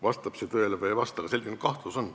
Vastab see tõele või ei vasta, aga selline kahtlus on.